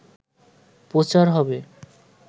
প্রচার হবে